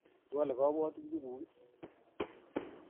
Iwole kabwotutik nguk?